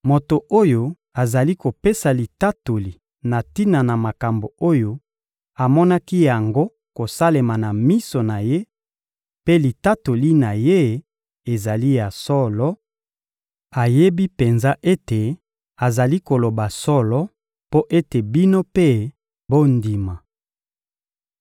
Moto oyo azali kopesa litatoli na tina na makambo oyo amonaki yango kosalema na miso na ye, mpe litatoli na ye ezali ya solo; ayebi penza ete azali koloba solo mpo ete bino mpe bondima.